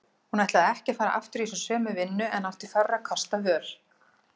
Hún ætlaði ekki að fara aftur í þessa sömu vinnu en átti fárra kosta völ.